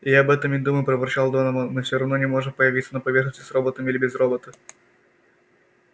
я об этом и думаю проворчал донован мы все равно не можем появиться на поверхности с роботом или без робота